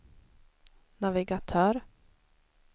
navigatör